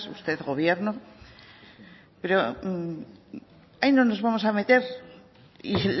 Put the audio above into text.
usted gobierno pero ahí no nos vamos a meter y